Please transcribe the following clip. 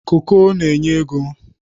koko n'enye ego.